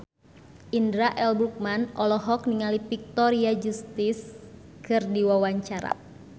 Indra L. Bruggman olohok ningali Victoria Justice keur diwawancara